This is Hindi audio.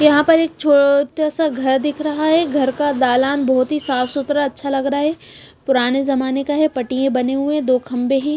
यहाँ पर एक छोटा सा घर दिख रहा है घर का दालान बहुत ही साफ सुथरा अच्छा लग रहा है पुराने जमाने का है पट्टियां बने हुए हैं दो खंबे हैं।